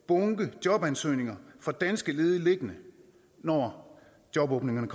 bunke jobansøgninger fra danske ledige liggende når jobåbningerne